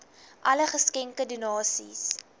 alle geskenke donasies